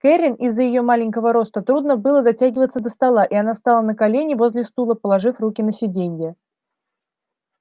кэррин из-за её маленького роста трудно было дотягиваться до стола и она стала на колени возле стула положив руки на сиденье